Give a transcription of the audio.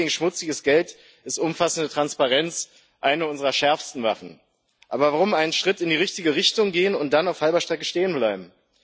Im Kampf gegen schmutziges Geld ist umfassende Transparenz eine unserer schärfsten Waffen. Aber warum einen Schritt in die richtige Richtung gehen und dann auf halber Strecke stehen bleiben?